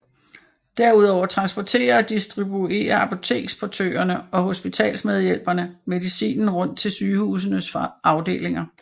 Derudover transporterer og distribuerer apoteksportørerne og hospitalsmedhjælperne medicinen rundt til sygehusenes afdelinger